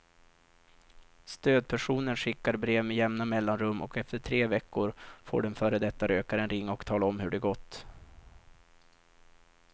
Stödpersonen skickar brev med jämna mellanrum och efter tre veckor får den före detta rökaren ringa och tala om hur det gått.